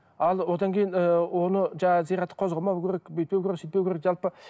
ал одан кейін ыыы оны жаңағы зиратты қозғамау керек бүйтпеу керек сөйтпеу керек жалпы